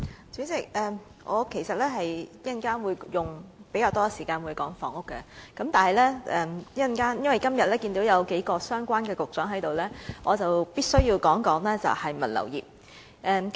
主席，我稍後會花較多時間討論房屋問題，但由於看到數名與物流業相關的局長今天也在席，所以我必須先就此方面發言。